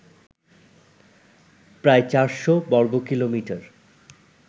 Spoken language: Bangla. প্রায় চারশো বর্গকিলোমিটার